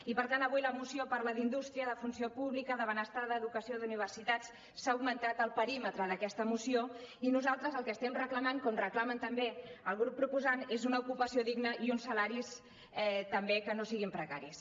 i per tant avui la moció parla d’indústria de funció pública de benestar d’educació d’universitats s’ha augmentat el perímetre d’aquesta moció i nosaltres el que estem reclamant com reclama també el grup proposant és una ocupació digna i uns salaris també que no siguin precaris